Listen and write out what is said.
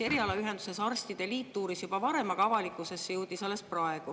Erialaühendus Eesti Arstide Liit uuris asja juba varem, avalikkusesse jõudis see alles praegu.